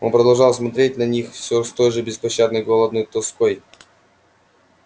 он продолжал смотреть на них всё с той же беспощадной голодной тоской